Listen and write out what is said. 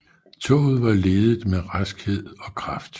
Toget var ledet med raskhed og kraft